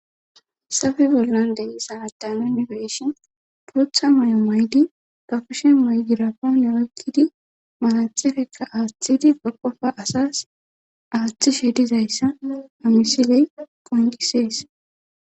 Safe bollan deyi saa daana inibeshon pootha may'o maydi gafushe maydirapoone oykkidi malathefekka aaththidi gaqofa asas aaththi shedizayssa amisiley poyntisees.